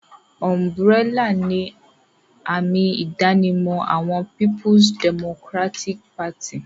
Ùm̀bùrẹ́là ni àmì-ìdánimọ̀ àwọn Peoples Democratic Party.